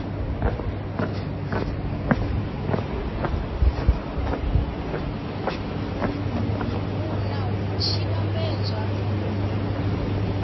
a nha hu tshi vhambedzwa